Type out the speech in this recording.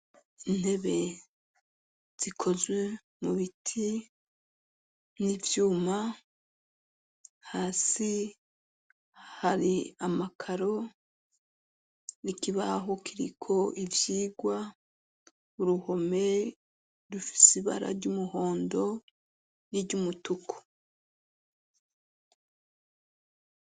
Intebe zikozwe mu biti n'ivyuma, hasi hari amakaro n'ikibaho kiriko ivyigwa, uruhome rufise ibara ry'umuhondo n'iry'umutuku.